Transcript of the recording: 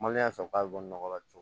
Maliyɛn fɛ k'a bɛ bɔ nɔgɔ la ten